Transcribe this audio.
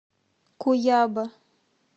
куяба